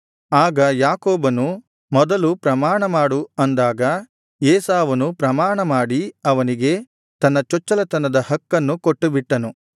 ಆಗ ಯಾಕೋಬನು ಮೊದಲು ಪ್ರಮಾಣಮಾಡು ಅಂದಾಗ ಏಸಾವನು ಪ್ರಮಾಣಮಾಡಿ ಅವನಿಗೆ ತನ್ನ ಚೊಚ್ಚಲತನದ ಹಕ್ಕನ್ನು ಕೊಟ್ಟುಬಿಟ್ಟನು